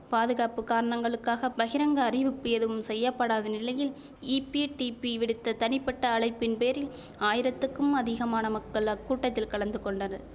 பாதுகாப்பு காரணங்களுக்காக பகிரங்க அறிவிப்பு எதுவும் செய்ய படாத நிலையில் ஈபிடிபி விடுத்த தனிப்பட்ட அழைப்பின் பேரில் ஆயிரத்திற்கும் அதிகமான மக்கள் அக்கூட்டத்தில் கலந்து கொண்டனர்